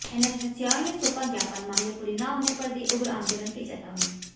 NSUI ने सौपा ज्ञापन मांगे पूरी न होने पर दी उग्र आंदोलन की चेतावनी